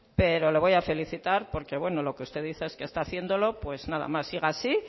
pero le voy a felicitar porque bueno lo que usted dice es que está haciéndolo pues nada más siga así